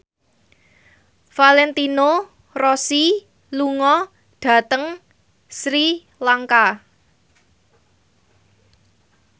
Valentino Rossi lunga dhateng Sri Lanka